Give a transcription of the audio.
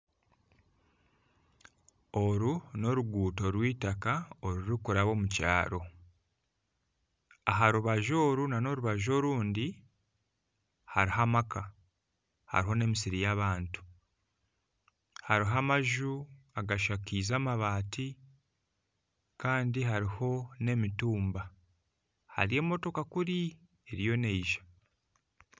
Oru n'oruguuto rw'eitaka orurikuraba omu kyaro, aha rubaju oru n'orubaju orundi hariho amaka hariho n'emisiri y'abantu. Hariho amaju agashakaize amabaati, kandi hariho n'emitumba. Hariyo emotoka kuri eriyo neija.